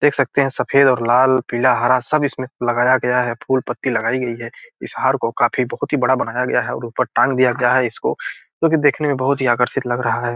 देख सकते है सफेद और लाल पीला हरा सब इसमें लगाया गया है फूल पत्ती लगायी गयी है। इस हार को काफी बड़ा बनाया गया है ऊपर टांग दिया गया है इसको जो देखने में बहोत ही आकर्षित लग रहा है।